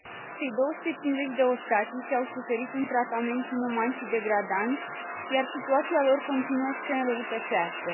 Cei 250 de ostatici au suferit un tratament inuman și degradant, iar situația lor continuă să se înrăutățească.